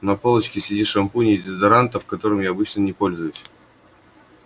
на полочке среди шампуней и дезодорантов которым я обычно не пользуюсь